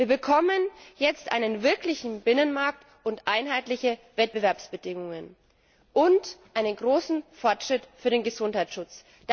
gefährden. Wir bekommen jetzt einen wirklichen Binnenmarkt, einheitliche Wettbewerbsbedingungen und einen großen Fortschritt für den Gesundheitsschutz.